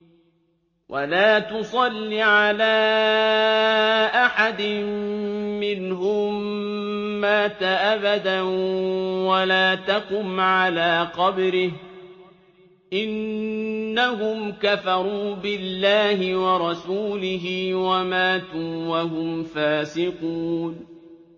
وَلَا تُصَلِّ عَلَىٰ أَحَدٍ مِّنْهُم مَّاتَ أَبَدًا وَلَا تَقُمْ عَلَىٰ قَبْرِهِ ۖ إِنَّهُمْ كَفَرُوا بِاللَّهِ وَرَسُولِهِ وَمَاتُوا وَهُمْ فَاسِقُونَ